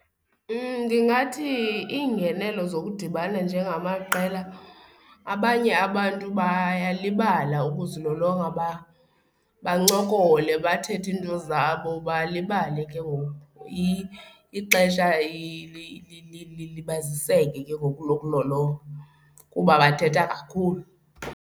Ndingathi iingenelo zokudibana njengamaqela abanye abantu bayalibala ukuzilolonga bancokole bathethe iinto zabo, balibale. Ke ngoku ixesha lilibaziseke ke ngoku lokulolonga kuba bathetha kakhulu.